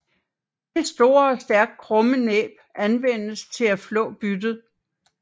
Det store og stærkt krumme næb anvendes til at flå byttet